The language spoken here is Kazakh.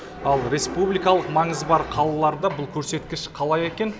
ал республикалық маңызы бар қалаларда бұл көрсеткіш қалай екен